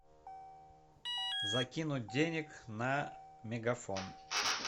закинуть денег на мегафон